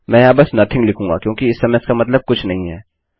मैं यहाँ बस नोथिंग लिखूंगा क्योंकि इस समय इसका मतलब कुछ नहीं है